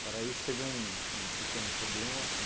isso, teve um um pequeno problema.